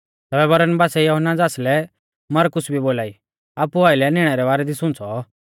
तैबै बरनबासै यहुन्ना ज़ासलै मरकुस भी बोलाई आपु आइलै निणै रै बारै दी सुंच़ौ